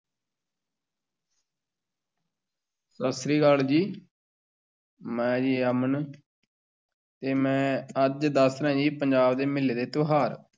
ਸਤਿ ਸ੍ਰੀ ਅਕਾਲ ਜੀ ਮੈਂ ਜੀ ਅਮਨ ਤੇ ਮੈਂ ਅੱਜ ਦੱਸ ਰਿਹਾਂ ਜੀ ਪੰਜਾਬ ਦੇ ਮੇਲੇ ਤੇ ਤਿਉਹਾਰ।